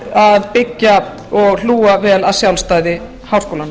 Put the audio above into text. að byggja og hlúa vel að sjálfstæði háskólanna